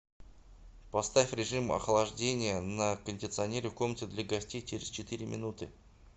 поставь режим охлаждения на кондиционере в комнате для гостей через четыре минуты